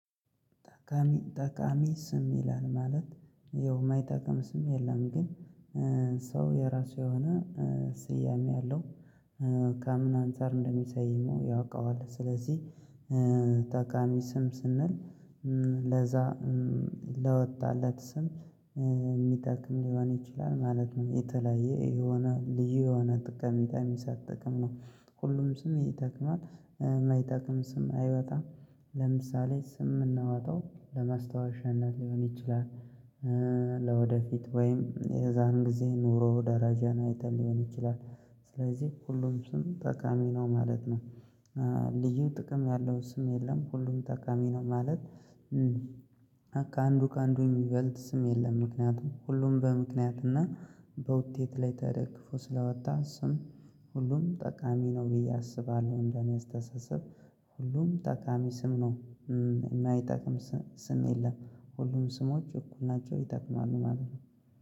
ጠቃሚ ጠቃሚ ስም ይላል ማለት ያው የማይጠቅም ስም የለም ግን ሰው የራሱ የሆነ ስያሜ አለው ከምን አንፃር እንደሚሰይመው ያውቀዋል ስለዚህ ጠቃሚ ስም ስንል ለዛ ለወጣለት ስም የሚጠቅም ሊሆን ይችላል ማለት ነው የተለያየ የሆነ ልዩ የሆነ ጠቀሜታ የሚሰጥ ጥቅም ነው ሁሉም ስም ይጠቅማል የማይጠቅም ስም አይወጣም ለምሳሌ ስም የምናወጣው ለመስታወሻነት ሊሆን ይችላል፣ ለወደፊት ወይም የዛን ጊዜ ኑሮ ደረጃን አይተን ሊሆን ይችላል ስለዚህ ሁሉም ስም ጠቃሚ ነው ማለት ነው። ልዩ ጥቅም ያለው ስም የለም ሁሉም ጠቃሚ ነው ማለት ከአንዱ ከአንዱ የሚበልጥ ስም የለም ምክንያቱም ሁሉም በምክንያትና በውጤት ላይ ተደግፎ ስለወጣ ስም ሁሉም ጠቃሚ ነው ብዬ አስባለሁ እንደኔ አስተሳሰብ ሁሉም ጠቃሚ ስም ነው። የማይጠቅም ስም የለም ሁሉም ስሞች እኩል ናቸው ይጠቅማሉ ማለት ነው።